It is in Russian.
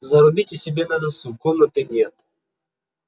зарубите себе на носу комнаты нет